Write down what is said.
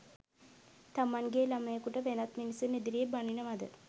තමන්ගේ ළමයෙකුට වෙනත් මිනිසුන් ඉදිරියේ බනිනවද?